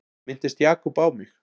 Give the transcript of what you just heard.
Minntist Jakob á mig?